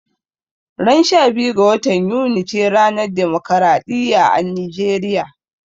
Ran 12 ga watan Yuni ce ranar demokaraɗiya a Nijeriya